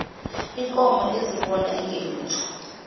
unkomo ezibona engelutho